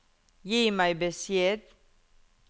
Gi meg beskjed